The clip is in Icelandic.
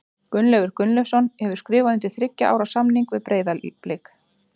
Gunnleifur Gunnleifsson hefur skrifað undir þriggja ára samning við Breiðablik.